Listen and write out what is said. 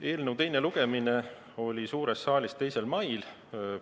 Eelnõu teine lugemine oli suures saalis 2. mail.